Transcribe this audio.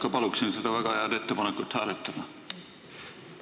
Ma paluksin ikka seda väga head ettepanekut hääletada!